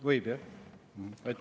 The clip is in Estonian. Võib jah?